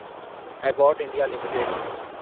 Abbott India limited